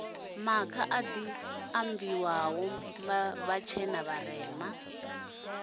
makha adi maindia vhatshena vharema